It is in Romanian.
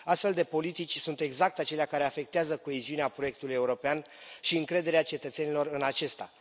Astfel de politici sunt exact acelea care afectează coeziunea proiectului european și încrederea cetățenilor în acesta.